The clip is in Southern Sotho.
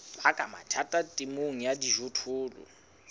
baka mathata temong ya dijothollo